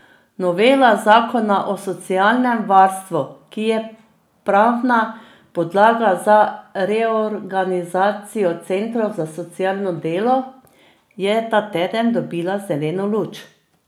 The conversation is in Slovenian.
Novela zakona o socialnem varstvu, ki je pravna podlaga za reorganizacijo centrov za socialno delo, je ta teden dobila zeleno luč.